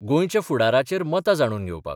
गोंयच्या फुडाराचेर मतां जाणून घेवपाक.